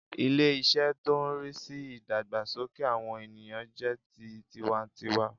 Ilé- isé tó n rí sí ìdàgbàsókè àwọn ènìyàn jẹ́ ti tiwa n tiwa